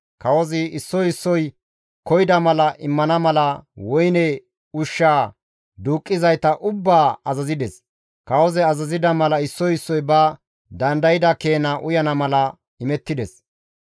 Kawozi issoy issoy koyida mala immana mala woyne ushshaa duuqqizayta ubbaa azazides. Kawozi azazida mala issoy issoy ba dandayda keena uyana mala imettides.